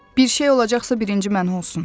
Bir şey olacaqsa birinci mənə olsun.